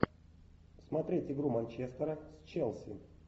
смотреть игру манчестера с челси